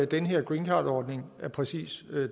den her greencardordning af præcis